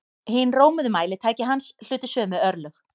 Hin rómuðu mælitæki hans hlutu sömu örlög.